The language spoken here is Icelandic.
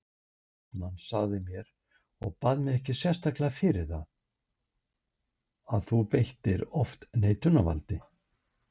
HAustmann sagði mér, og bað mig ekkert sérstaklega fyrir það, að þú beittir oft neitunarvaldi.